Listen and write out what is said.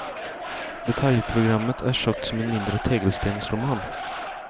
Detaljprogrammet är tjockt som en mindre tegelstensroman.